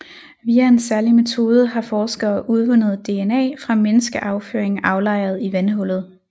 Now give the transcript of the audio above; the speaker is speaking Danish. Via en særlig metode har forskere udvundet DNA fra menneskeafføring aflejret i vandhullet